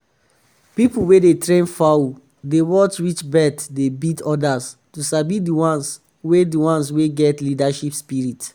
people wey dey train fowl dey watch which bird dey beat others to sabi the ones wey the ones wey get leadership spirit.